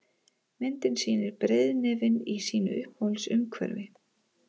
Myndin sýnir breiðnefinn í sínu uppáhalds umhverfi.